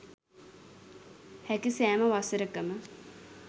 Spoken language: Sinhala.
හැකි සෑම වසරකම